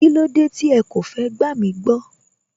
Kílódé tí ẹ kò fẹ́ gbàmí gbọ́